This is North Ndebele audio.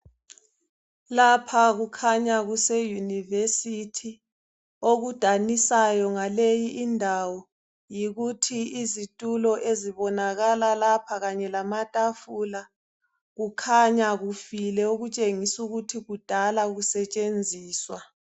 Lapha kukhanya kuse Yunivesithi okudanisayo ngaleyi indawo yikuthi izitulo ezibonakala lapha kanye lamatafula kukhanya kufile okutshengisela ukuthi kudala kusetshenziswa.